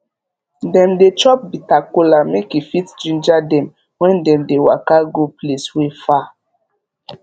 dem dey chop bitter kola make e fit ginger dem when dem dey waka go place wey far